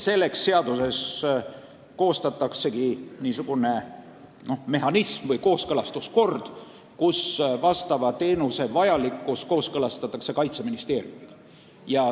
Selleks luuaksegi seaduses niisugune mehhanism või kehtestatakse kooskõlastuskord, mille alusel teenuse vajalikkus kooskõlastatakse Kaitseministeeriumiga.